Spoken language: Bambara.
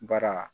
Bara